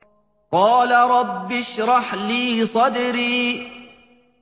قَالَ رَبِّ اشْرَحْ لِي صَدْرِي